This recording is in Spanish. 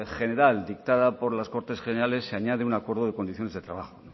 general dictada por las cortes generales se añade un acuerdo de condiciones de trabajo